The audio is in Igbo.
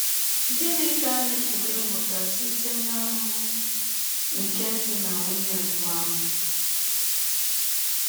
Gịnị ka anyị pụrụ ịmụta site n’ahụmahụ nke di na nwụnye mbụ ahụ??